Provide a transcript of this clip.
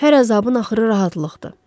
Hər əzabın axırı rahatlıqdır.